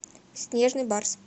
снежный барс